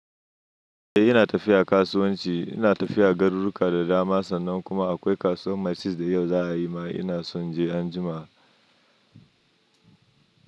Eh ina tafiya kasuwanci, ina tafiya Garuruka da dama sannan kuma akwai kasuwan Masist da yau za a yi ma ina son je anjima.